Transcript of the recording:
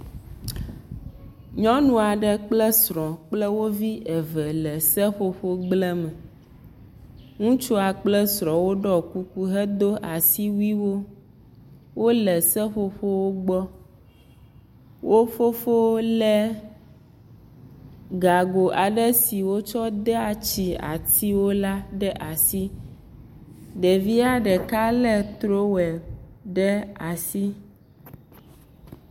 Nyɔnu aɖe kple srɔ̃ kple wo vi eve le seƒoƒogble me, ŋutsua kple srɔ̃a woɖɔ kuku hedo asiwuiwo, wole seƒoƒowo gbɔ, wo fofowo légago aɖe si wotsɔ dea tsi atiwo la ɖe asi, ɖevia ɖeka lé trowel ɖe asi.